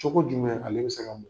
Cogo jumɛn ale bɛ se ka